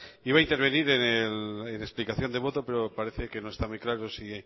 iba a intervenir en la explicación de voto pero parece que no está muy claro si